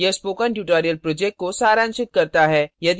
यह spoken tutorial project को सारांशित करता है